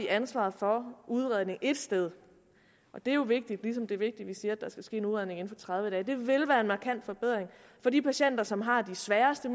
ansvaret for udredning et sted og det er jo vigtigt ligesom det er vigtigt at vi siger at der skal ske en udredning inden for tredive dage hvilket vil være en markant forbedring for de patienter som har de sværeste